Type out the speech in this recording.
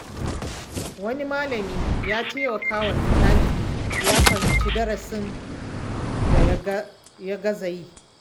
Wani malami ya taimaka wa ɗalibi ya fahimci darasin da ya gaza yi.